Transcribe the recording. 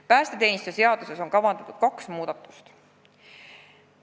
Päästeteenistuse seaduses on kavandatud kaks muudatust.